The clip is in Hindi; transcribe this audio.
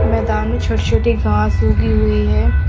मैदान में छोटी छोटी घास उगी हुई है।